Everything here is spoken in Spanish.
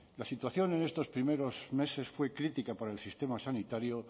la situación en estos primeros meses fue crítica por el sistema sanitario